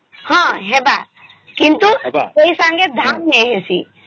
ହଁ ହେବ କିନ୍ତୁ ସେଇ ସଂଗେ ଧାନ ନାଇଁ ହେଇସିସ